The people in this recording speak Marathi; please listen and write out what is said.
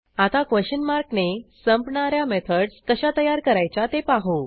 आता क्वेशन मार्क ने संपणा या मेथडस कशा तयार करायच्या ते पाहू